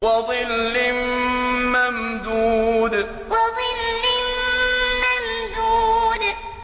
وَظِلٍّ مَّمْدُودٍ وَظِلٍّ مَّمْدُودٍ